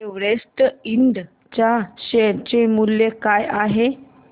Everest इंड च्या share चे मूल्य काय आहे